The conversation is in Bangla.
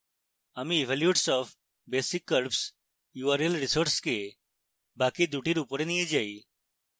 আমি evolutes of basic curves url resource বাকি দুটির উপরে নিয়ে যাই